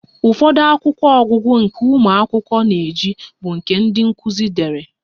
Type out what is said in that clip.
Ụfọdụ akwụkwọ ọgụgụ nke ụmụ akwụkwọ na-eji bụ ndị nkuzi dere